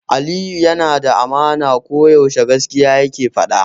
Aliyu yana da amana, ko yaushe gaskiya yake faɗa.